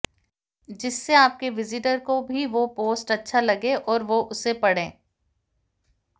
जिससे आपके विजिटर को भी वो पोस्ट अच्छा लगे और वो उसे पढ़े